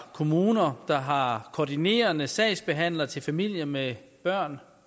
kommuner der har koordinerende sagsbehandler til familier med børn